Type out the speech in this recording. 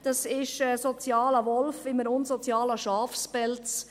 Dies ist ein sozialer Wolf in einem unsozialen Schafspelz.